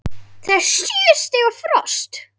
Það er sjö stiga frost!